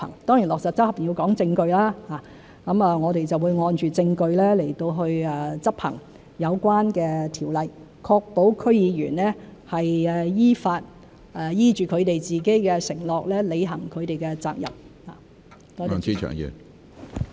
當然落實、執行要講證據，我們會按證據來執行有關條例，確保區議員依法、依着自己的承諾履行他們的責任。